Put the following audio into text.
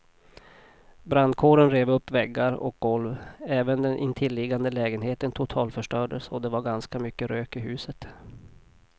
Brandkåren rev upp väggar och golv, även den intilliggande lägenheten totalförstördes och det var ganska mycket rök i huset.